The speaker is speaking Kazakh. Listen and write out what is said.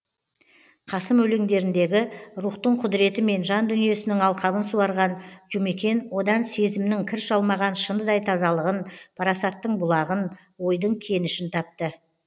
қасым өлеңдеріндегі рухтың құдіретімен жан дүниесінің алқабын суарған жұмекен одан сезімнің кір шалмаған шыныдай тазалығын парасаттың бұлағын ойдың кенішін тапты